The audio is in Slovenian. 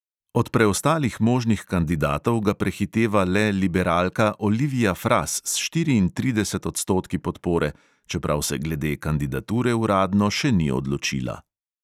Od preostalih možnih kandidatov ga prehiteva le liberalka olivija fras s štiriintridesetimi odstotki podpore, čeprav se glede kandidature uradno še ni odločila.